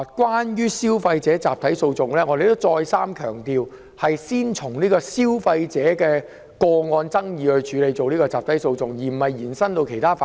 關於集體訴訟，我們已再三強調，會先就消費者個案引入集體訴訟，而不會把集體訴訟機制延伸至其他範疇。